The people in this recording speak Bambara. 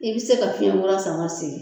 I bɛ se ka fiɲɛ kura san ka segin